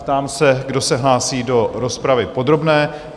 Ptám se, kdo se hlásí do rozpravy podrobné?